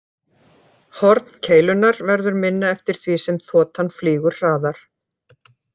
Horn keilunnar verður minna eftir því sem þotan flýgur hraðar.